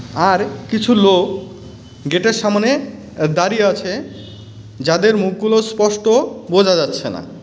আর কিছু লোক গেটের সামোনে আঃ দাঁড়িয়ে আছে যাদের মুখগুলো স্পষ্ট বোঝা যাচ্ছে না .